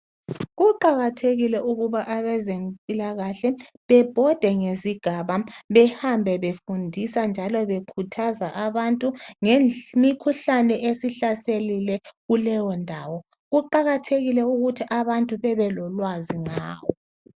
Kuqakathekile ukuba abezempilakahle bebhode ngesigaba behambe befundisa njalo bekhuthaza abantu ngemikhuhlane esihlaselile kuleyo ndawo kuqakathekile ukuthi abantu bebe lolwazi ngawo.